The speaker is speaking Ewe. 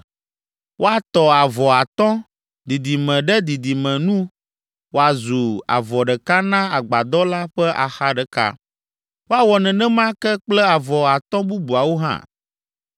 Woatɔ avɔ atɔ̃, didime ɖe didime nu woazu avɔ ɖeka na agbadɔ la ƒe axa ɖeka. Woawɔ nenema ke kple avɔ atɔ̃ bubuawo hã.